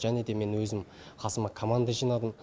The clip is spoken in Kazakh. және де мен өзім қасыма команда жинадым